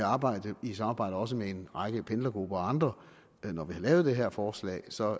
arbejde i samarbejde også med en række pendlergrupper og andre da vi lavede det her forslag så er